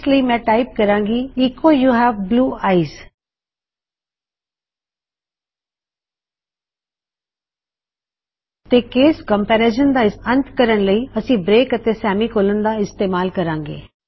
ਇਸ ਲਈ ਮੈਂ ਟਾਇਪ ਕਰਾਂ ਗੀ echo you have blue eyes echo you have blue eyes ਤੇ ਕੇਸ ਕੰਮਪੇਰਿਜਨ ਦਾ ਅੰਤ ਕਰਨ ਲਈ ਅਸੀਂ ਬ੍ਰੇਕ ਅਤੇ ਸੇਮੀ ਕੋਲਨ ਦਾ ਇਸਤੇਮਾਲ ਕਰਾਂਗੇ